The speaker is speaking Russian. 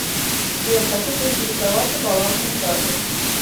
сбер хочу поинтересоваться балансом карты